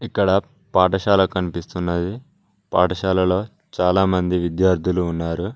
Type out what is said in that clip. ఇక్కడ పాఠశాల కనిపిస్తున్నది పాఠశాలలో చాలామంది విద్యార్థులు ఉన్నారు.